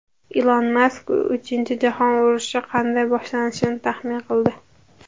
Ilon Mask uchinchi jahon urushi qanday boshlanishini taxmin qildi.